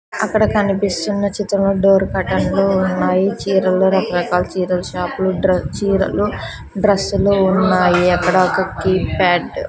అక్కడ కనిపిస్తున్న చిత్రం డోర్ కర్టెన్ లు ఉన్నాయి చీరలు రకరకాల చీరలు షాపులు డ్ర చీరలు డ్రస్సులు ఉన్నాయి అక్కడ ఒక కీప్యాడ్ --